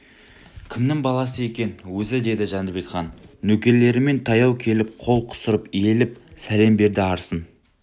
кімнің баласы екен өзі деді жәнібек хан нөкерлерімен таяу келіп қол қусырып иіліп сәлем берді арсың